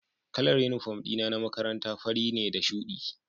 Kalar uniform dina na makaranta fari ne da shudi